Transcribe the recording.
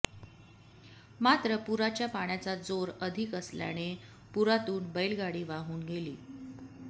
मात्र पुराच्या पाण्याचा जोर अधिक असल्याने पुरातून बैलगाडी वाहून गेली